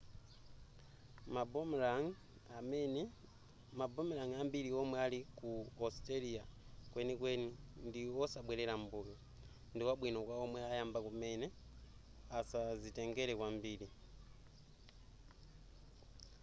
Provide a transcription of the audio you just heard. ma boomerang ambiri omwe alipo ku australia kwenikweni ndi osabwerera m'mbuyo ndikwabwino kwa omwe ayamba kumene asazitengere kwambiri